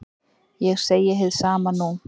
Ég segi hið sama nú.